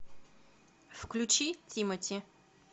включи тимати